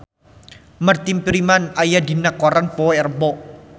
Martin Freeman aya dina koran poe Rebo